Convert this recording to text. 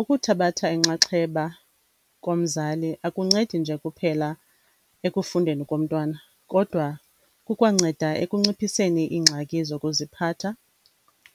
Ukuthabatha inxaxheba komzali akuncedi nje kuphela ekufundeni komntwana kodwa kukwanceda ekunciphiseni iingxaki zokuziphatha,